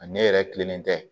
A ne yɛrɛ kilenlen tɛ